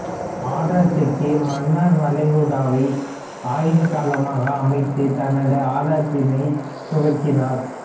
ஆராய்ச்சிக்கு மன்னார் வளைகுடாவை ஆய்வு களமாக அமைத்து தனது ஆராய்ச்சியினை துவக்கினாா்